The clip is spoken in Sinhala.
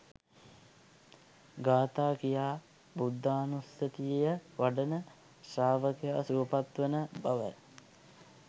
ගාථා කියා බුද්ධානුස්සතිය වඩන ශ්‍රාවකයා සුවපත් වන බවයි